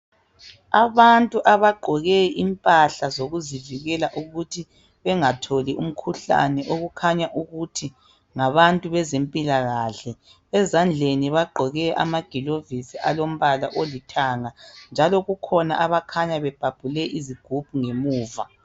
Abantu abagqoke impahla zokuzivikela ukuthi bengatholi umkhuhlane okukhanya ukuthi ngabantu bezempilakahle ezandleni bagqoke amagilovisi alombala olithanga njalo kukhona abakhanya bebhale izigubhu ngemuva.